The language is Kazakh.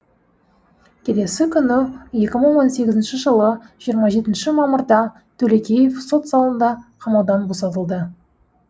келесі күні екі мың он сегізінші жылы жиырма жетінші мамырда төлекеев сот залында қамаудан босатылды